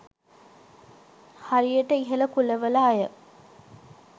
හරියට ඉහළ කුලවල අය